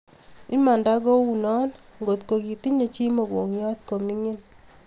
Imanda kuunot ngotko kitinye chii mogongiot koo mingin